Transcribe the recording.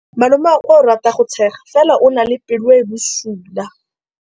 Malomagwe o rata go tshega fela o na le pelo e e bosula.